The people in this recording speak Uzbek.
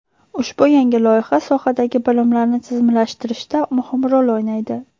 Ushbu yangi loyiha sohadagi bilimlarni tizimlashtirishda muhim rol o‘ynaydi.